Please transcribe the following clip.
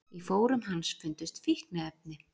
Í fórum hans fundust fíkniefni